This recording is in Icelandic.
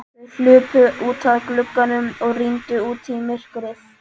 Þau hlupu út að glugganum og rýndu út í myrkrið.